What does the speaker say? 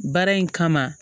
Baara in kama